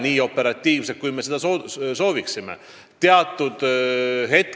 Nii operatiivset süsteemi, nagu me soovime, ei ole.